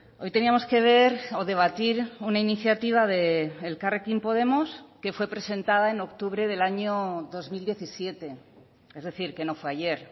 hoy teníamos que ver o debatir una iniciativa de elkarrekin podemos que fue presentada en octubre del año dos mil diecisiete es decir que no fue ayer